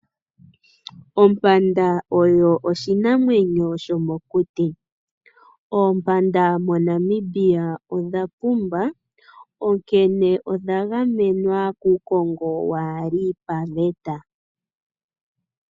Ompanda oyo oshinamwenyo shomokuti. Oompanda moNamibia odha pumba, onkene odha gamenwa kuukongo kaa wu li paveta.